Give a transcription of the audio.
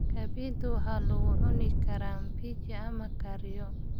Kabaytu waxaa lagu cuni karaa mbichi ama la kariyo.